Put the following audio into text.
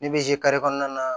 Ne bɛ zi kari kɔnɔna na